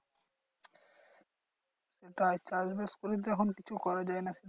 সেটাই চাষবাস করিস যখন কিছু করা যায় না